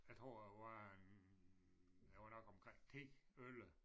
Jeg tror jeg var en jeg var nok omkring 10 11